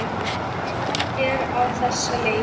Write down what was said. Sagan er á þessa leið